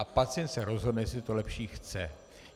A pacient se rozhodne, jestli to lepší chce.